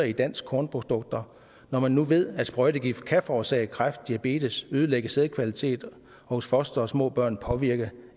i danske kornprodukter når man nu ved at sprøjtegift kan forårsage kræft diabetes og ødelægge sædkvaliteten og hos fostre og små børn påvirke